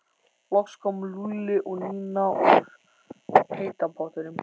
Loks komu Lúlli og Nína úr heita pottinum.